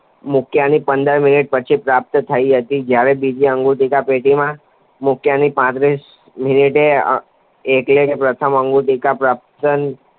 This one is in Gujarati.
મૂક્યાની પંદર મિનિટ પછી પ્રાપ્ત થઈ હતી. જ્યારે બીજી અન્નગુટિકા પેટીમાં મૂક્યાની પાંત્રીસ મિનિટે એટલે કે પ્રથમ અન્નગુટિકા પ્રાપ્ત થયાની